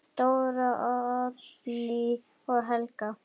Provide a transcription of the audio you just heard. Dóra, Oddný og Helga.